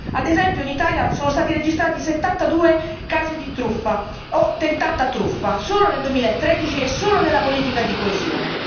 Ad esempio, in Italia sono stati registrati 72 casi di truffa o tentata truffa solo nel 2013 e solo nella politica di coesione.